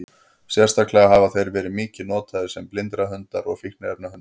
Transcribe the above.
Sérstaklega hafa þeir verið mikið notaðir sem blindrahundar og fíkniefnahundar.